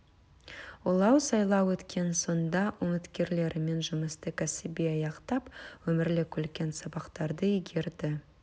олар сайлау өткен соң да үміткерлерімен жұмысты кәсіби аяқтап өмірлік үлкен сабақтарды игерді